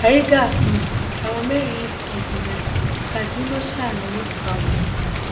bárigà um làwọn mẹrin yìí ti digunjalè kaduna um lowó ti bá wọn